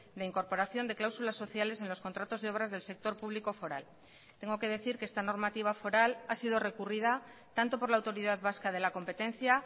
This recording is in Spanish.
de incorporación de cláusulas sociales en los contratos de obras del sector público foral tengo que decir que esta normativa foral ha sido recurrida tanto por la autoridad vasca de la competencia